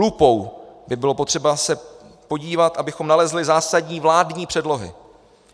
Lupou by bylo potřeba se podívat, abychom nalezli zásadní vládní předlohy.